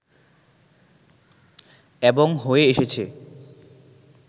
এবং হয়ে এসেছে